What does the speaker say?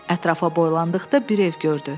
Ətrafa boylandıqda bir ev gördü.